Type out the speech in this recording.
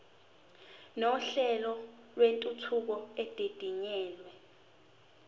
nohlelo lwentuthuko edidiyelwe